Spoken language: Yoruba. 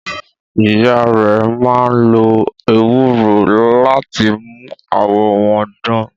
Ìyá rẹ̀ máa ń lo ewúro láti mú àwọ̀ wọn dán.